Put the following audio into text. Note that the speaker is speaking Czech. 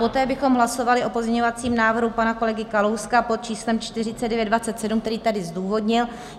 Poté bychom hlasovali o pozměňovacím návrhu pana kolegy Kalouska pod číslem 4927, který tady zdůvodnil.